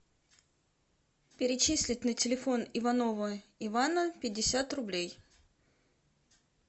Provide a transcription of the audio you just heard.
перечеслить на телефон иванова ивана пятьдесят рублей